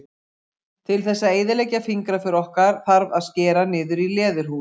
Til þess að eyðileggja fingraför okkar þarf að skera niður í leðurhúð.